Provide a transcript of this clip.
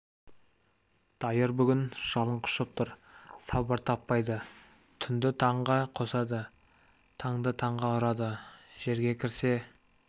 дайыр бүгін жалын құшып тұр сабыр таппайды түнді таңға қосады таңды таңға ұрады жерге кірсе